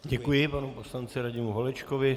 Děkuji panu poslanci Radimu Holečkovi.